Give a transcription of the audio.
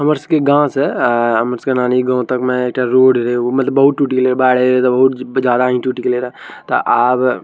हमर सी गाँव से अ हमर सी नानी गाँव तक में ईटा रोड रे बहुत टूट गले बाड़े बहुत ज्यादा ही टूट त आव --